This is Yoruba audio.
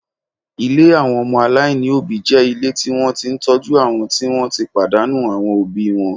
Ilé àwọn ọmọ aláìní òbí jẹ́ ilé tí wọ́n ti ń tọ́jú àwọn tí wọ́n ti pàdánù àwọn òbí wọn